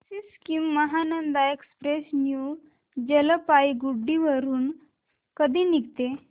Sikkim Mahananda express new Jalpaiguri वरून कधी निघते